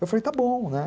Eu falei, está bom, né?